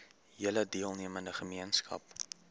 hele deelnemende gemeenskap